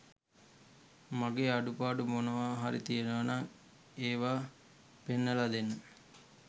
මගේ අඩුපාඩු මොනවා හරි තියෙනවනම් ඒවා පෙන්නලා දෙන්න